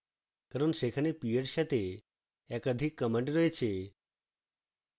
কারণ সেখানে p এর সাথে একাধিক command রয়েছে